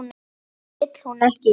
Þetta vill hún ekki.